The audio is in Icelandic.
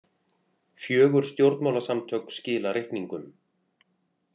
Fjögur stjórnmálasamtök skila reikningum